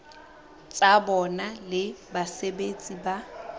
tsa bona le basebeletsi ba